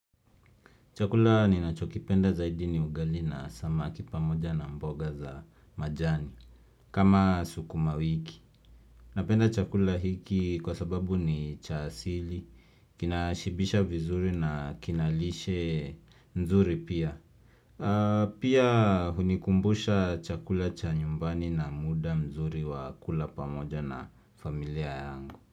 Chakula ninachokipenda zaidi ni ugali na samaki pamoja na mboga za majani kama sukumawiki. Napenda chakula hiki kwa sababu ni cha asili, kinashibisha vizuri na kina lishe nzuri pia. Pia hunikumbusha chakula cha nyumbani na muda mzuri wa kula pamoja na familia yangu.